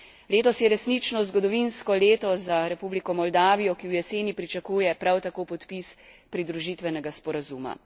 Letos je resnično zgodovinsko leto za Republiko Moldavijo, ki v jeseni pričakuje prav tako podpis pridružitvenega sporazuma.